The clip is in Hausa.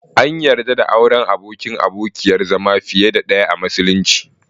An yarda da auren abokin/abokiyar zama fiye da ɗaya a musulunci.